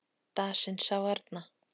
Dasinn sá arna